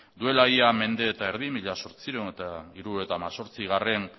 duela ia mende eta erdi mila zortziehun eta hirurogeita hemezortzigarrena